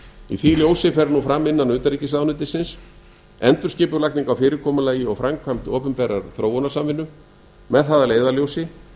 í því ljósi fer nú fram innan utnaríkisráðunetyisins endurskipulagning á fyrirkomulagi og framkvæmd opinberrar þróunarsamvinnu með það að leiðarljósi